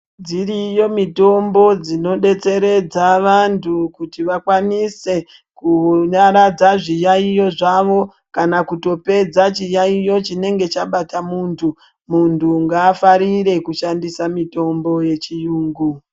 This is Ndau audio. Dziriyo mitombo dzinodetseredza vantu kuti vakwanise kunyaradza zviyaiyo zvavo kana kutopedza chiyaiyo chinenge chabata muntu, muntu ngaafarire kushandisa mitombo yechurungu.